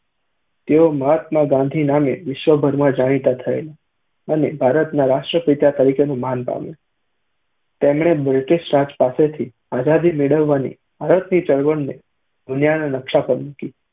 તેઓ મહાત્મા ગાંધી નામે વિશ્વભરમાં જાણીતા થયેલા અને ભારતના રાષ્ટ્રપિતા તરીકેનું માન પામ્યુ. તેમણે બ્રિટીશ રાજ પાસેથી આઝાદી મેળવવાની ભારતની ચળવળને દુનિયાના નકશા પર મૂકી.